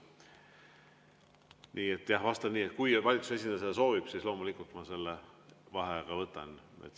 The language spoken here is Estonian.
Nii et jah, vastan nii, et kui valitsuse esindaja seda soovib, siis loomulikult ma selle vaheaja võtan.